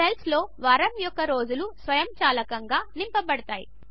సెల్స్లో వారము యొక్క రోజులు సెల్స్ స్వయంచాలకంగా నింపబడతాయి